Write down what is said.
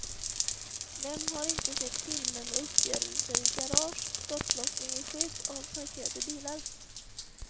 Vem har inte sett filmer med uppgörelser i garage, skottlossning i skydd av parkerade bilar.